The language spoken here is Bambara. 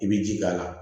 I bɛ ji k'a la